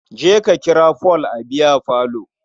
Je ka kira Paul a biyafalo.